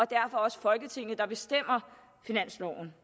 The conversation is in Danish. derfor også folketinget der bestemmer finansloven